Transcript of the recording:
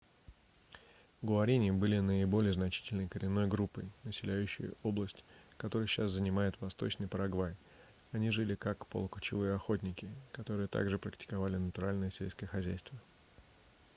гуарини были наиболее значительной коренной группой населяющей область которую сейчас занимает восточный парагвай они жили как полукочевые охотники которые также практиковали натуральное сельское хозяйство